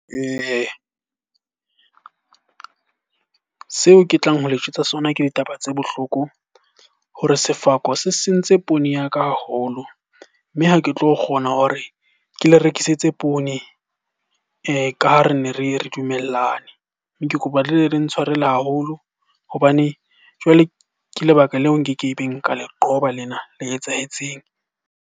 Seo ke tlang ho le jwetsa sona ke ditaba tse bohloko hore sefako se sentse poone ya ka haholo. Mme ha ke tlo kgona hore ke le rekisetse poone ka ha re ne re dumellane. Mme ke kopa le ntshwarele haholo hobane jwale ke lebaka leo nkekebeng ka le qoba lena le etsahetseng.